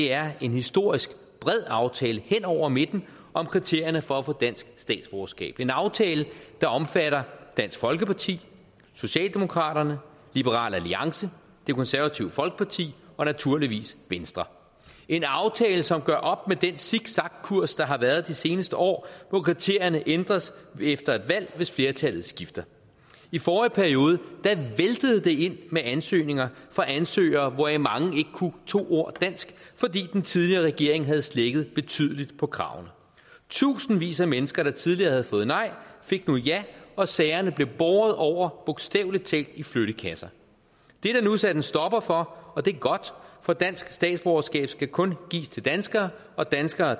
er en historisk bred aftale hen over midten om kriterierne for at få dansk statsborgerskab det er en aftale der omfatter dansk folkeparti socialdemokraterne liberal alliance det konservative folkeparti og naturligvis venstre det en aftale som gør op med den zigzagkurs der har været de seneste år hvor kriterierne ændres efter et valg hvis flertallet skifter i forrige periode væltede det ind med ansøgninger fra ansøgere hvoraf mange ikke kunne to ord dansk fordi den tidligere regering havde slækket betydeligt på kravene tusindvis af mennesker der tidligere havde fået nej fik nu ja og sagerne blev bogstavelig talt i flyttekasser det er der nu sat en stopper for og det er godt for dansk statsborgerskab skal kun gives til danskere og danskere